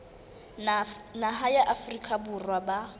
naha ya afrika borwa ba